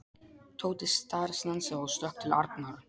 Tóti snarstansaði og stökk til Arnar.